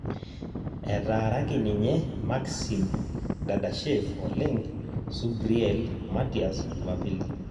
etaaraki inye Maxim dadashev oleng' Subriel Mattias jumapili